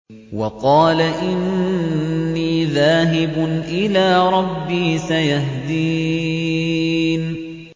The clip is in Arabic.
وَقَالَ إِنِّي ذَاهِبٌ إِلَىٰ رَبِّي سَيَهْدِينِ